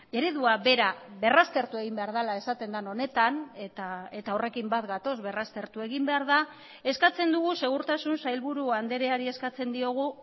eredua bera berraztertu egin behar dela esaten den honetan eta horrekin bat gatoz berraztertu egin behar da eskatzen dugu segurtasun sailburu andreari eskatzen diogu